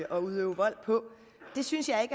at udøve vold på det synes jeg